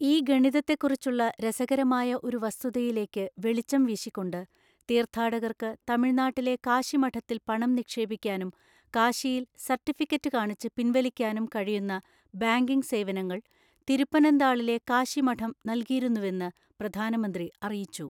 ഈ ഗണിതത്തെക്കുറിച്ചുള്ള രസകരമായ ഒരു വസ്തുതയിലേക്ക് വെളിച്ചം വീശിക്കൊണ്ട്, തീർഥാടകർക്ക് തമിഴ്നാട്ടിലെ കാശി മഠത്തിൽ പണം നിക്ഷേപിക്കാനും കാശിയിൽ സർട്ടിഫിക്കറ്റ് കാണിച്ച് പിൻവലിക്കാനും കഴിയുന്ന ബാങ്കിംഗ് സേവനങ്ങൾ തിരുപ്പനന്താളിലെ കാശി മഠം നൽകിയിരുന്നുവെന്ന് പ്രധാനമന്ത്രി അറിയിച്ചു.